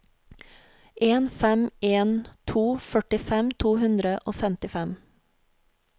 en fem en to førtifem to hundre og femtifem